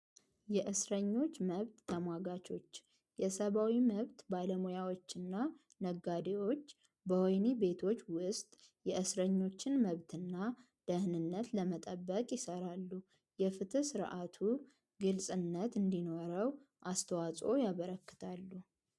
የእስረኞች መብት ተሟጋቾች የሰባዊ መብት ባለሙያዎችና ነጋዴዎች በሆይኒ ቤቶች ውስጥ የእስረኞችን መብትና ደህንነት ለመጠበቅ ይሠራሉ የፍት ስርዓቱ ግልጽነት እንዲኖረው አስተዋጾ ያበረክታሉ።